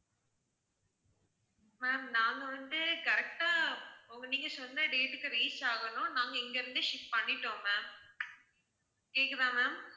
ma'am நாங்க வந்து correct ஆ, உங்க வீட்டுக்கு வந்து date க்கு reach ஆகணும்னு, நாங்க இங்க இருந்து ship பண்ணிட்டோம் ma'am கேக்குதா ma'am